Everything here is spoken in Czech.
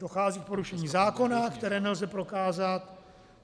Dochází k porušení zákona, které nelze prokázat.